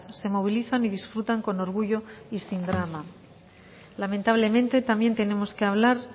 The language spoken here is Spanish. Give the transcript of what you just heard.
se movilizan y disfrutan con orgullo y sin drama lamentablemente también tenemos que hablar